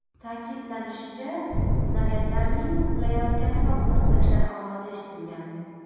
Ta’kidlanishicha, snaryadlarning qulayotgani va portlashlar ovozi eshitilgan.